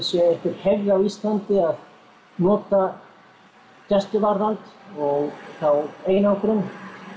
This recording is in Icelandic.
sé einhver hefð á Íslandi að nota gæsluvarðhald og þá einangrun